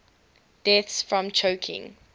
deaths from choking